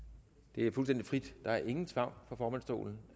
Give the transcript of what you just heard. det er fuldstændig frit der er ingen tvang fra formandsstolen